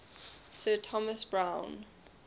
sir thomas browne